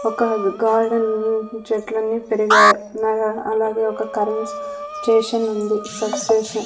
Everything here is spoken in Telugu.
ఒక గార్డెన్ చెట్లని పెరిగాయ్ అనగా అలాగే ఒక కరెంట్ స్టేషనుంది సబ్స్టేషన్ --